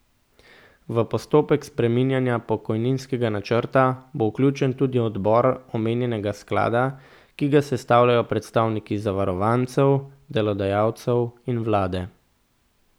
V postopek spreminjanja pokojninskega načrta bo vključen tudi odbor omenjenega sklada, ki ga sestavljajo predstavniki zavarovancev, delodajalcev in vlade.